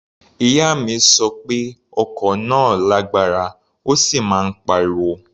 Ìyá mi sọ pé ọkọ̀ náà lágbára, ó sì máa ń pariwo.